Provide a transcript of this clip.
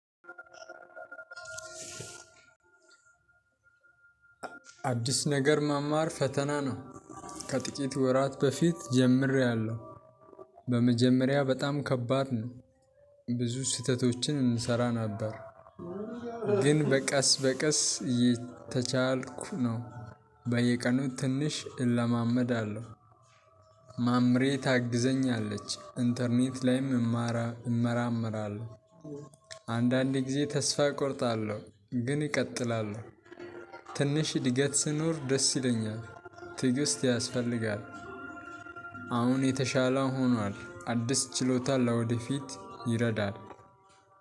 አዲስ ነገር መማር ፈተና ነው ከጥቂት ወራት በፊት ጀምሬያለሁ በመጀመሪያ በጣም ከባድ ነው ብዙ ስህተቶችን እንሰራ ነበር ግን በቀስ በቀስ የተቻልኩ ነው። በየቀኑ ትንሽ እለማመዳለሁ ማምሬ ታግዘኛለች ኢንተርኔት ላይም እመራምራለሁ አንዳንዴ ጊዜ ተስፋ እቆርጣለሁ ግን እቀጥላለሁ ትንሽ እድገት ስኖር ደስ ይለኛል። ትግስት ያስፈልጋል አሁን የተሻለ ሆኗል አዲስ ችሎታ ለወደፊት ይረዳል።